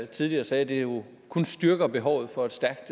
tidligere sagde at det jo kun styrker behovet for et stærkt